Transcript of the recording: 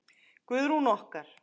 Guðrún okkar!